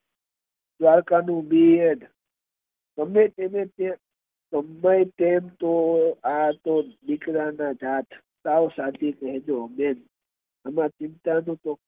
પારકાનું પેટ ગમે તેટલું જોયે પણ આ તો દીકરા ના જાત સાવ સાચું કહેજો બેન